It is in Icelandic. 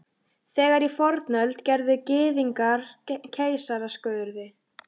Þegar í fornöld gerðu Gyðingar keisaraskurði.